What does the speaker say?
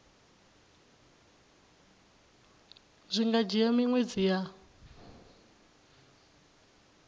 zwi nga dzhia miṅwedzi ya